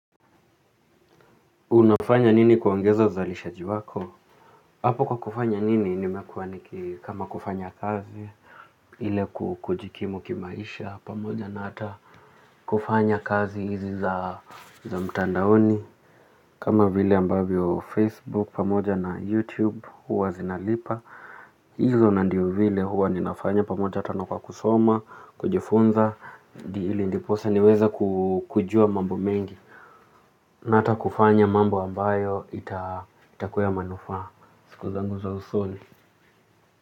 Unafanya nini kuongeza uzalishaji wako? Hapo kwa kufanya nini nimekuwa nikikama kufanya kazi, ili kujikimu kimaisha, pamoja na hata kufanya kazi hizi za mtandaoni. Kama vile ambavyo Facebook, pamoja na YouTube, huwa zinalipa. Izo ndio zile huwa ninafanya pamoja tena kwa kusoma, kunifunza, ndiposa niwezekujua mambo mengi na hata kufanya mambo ambayo itakuwa ya manufaa. Siku zangu za usoni.